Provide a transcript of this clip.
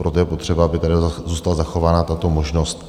Proto je potřeba, aby tady zůstala zachována tato možnost.